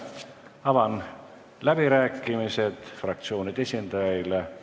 Avan fraktsioonide esindajate läbirääkimised.